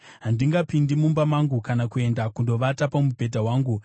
“Handingapindi mumba mangu kana kuenda kundovata pamubhedha wangu,